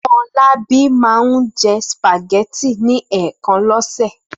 Fọlábí máa ń jẹ sùpàgẹ́tì ní ẹ̀ẹ̀kan lọ́sẹ̀.